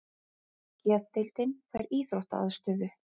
Geðdeildin fær íþróttaaðstöðu